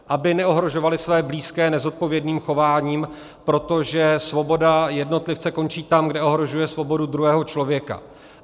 Aby neohrožovali své blízké nezodpovědným chováním, protože svoboda jednotlivce končí tam, kde ohrožuje svobodu druhého člověka.